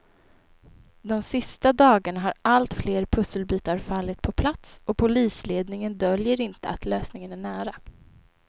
De sista dagarna har allt fler pusselbitar fallit på plats och polisledningen döljer inte att lösningen är nära.